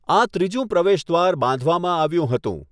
આ ત્રીજું પ્રવેશદ્વાર બાંધવામાં આવ્યું હતું.